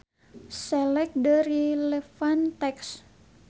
Select the relevant text.